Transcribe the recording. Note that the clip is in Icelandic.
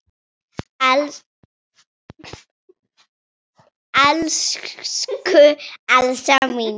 Elsku Elsa mín.